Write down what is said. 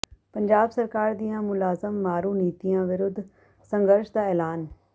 ਪੰਜਾਬ ਸਰਕਾਰ ਦੀਆਂ ਮੁਲਾਜ਼ਮ ਮਾਰੂ ਨੀਤੀਆਂ ਵਿਰੁੱਧ ਸੰਘਰਸ਼ ਦਾ ਐਲਾਨ